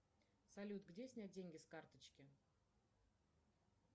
салют где снять деньги с карточки